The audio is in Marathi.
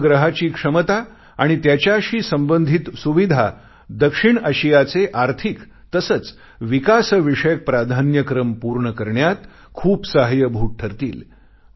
या उपग्रहाची क्षमता आणि त्याच्याशी संबंधित सुविधा दक्षिण आशियाचे आर्थिक तसेच विकास विषयक प्राधान्यक्रम पूर्ण करण्यात खूप सहाय्य्यभूत ठरतील